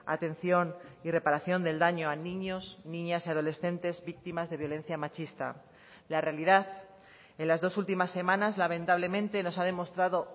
atención y reparación del daño a niños niñas y adolescentes víctimas de violencia machista la realidad en las dos últimas semanas lamentablemente nos ha demostrado